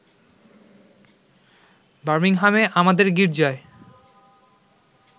বামিংহামে আমাদের গীর্জায়